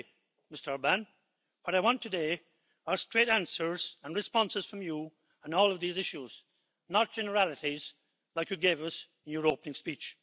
Frankly, Mr Orbán, what I want today are straight answers and responses from you on all of these issues, not generalities like you gave us in your opening speech.